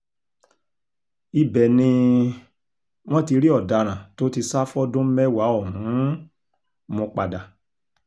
ibẹ̀ ni um wọ́n ti rí ọ̀daràn tó ti sá fọ́dún mẹ́wàá ọ̀hún um mú padà